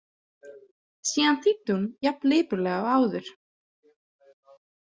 Síðan þýddi hún jafn lipurlega og áður.